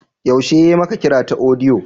Yaushe ya yi maka kira ta audio?